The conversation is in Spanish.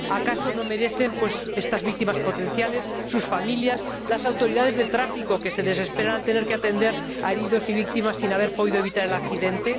¿Acaso no lo merecen estas víctimas potenciales, sus familias, las autoridades de tráfico, que se desesperan al tener que atender a heridos y víctimas sin haber podido evitar el accidente?